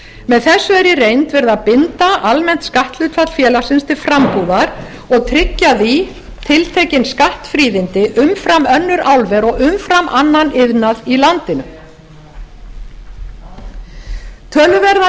með þessu er í reynd verið að binda almennt skatthlutfall félagsins til frambúðar og tryggja því tiltekin skattfríðindi umfram önnur álver og umfram annan iðnað í landinu töluverðar líkur